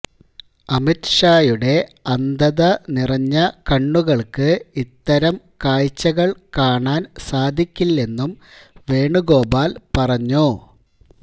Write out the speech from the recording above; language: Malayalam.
അമിത്ഷായുടെ അന്ധത നിറഞ്ഞ കണ്ണുകൾക്ക് ഇത്തരം കാഴ്ചകൾ കാണാൻ സാധിക്കില്ലെന്നും വേണുഗോപാൽ പറഞ്ഞു